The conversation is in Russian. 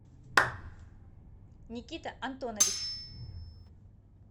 никита антонович